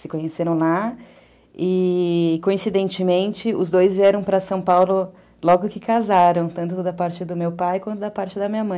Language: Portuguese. se conheceram lá e, coincidentemente, os dois vieram para São Paulo logo que casaram, tanto da parte do meu pai quanto da parte da minha mãe.